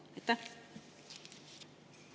Aitäh!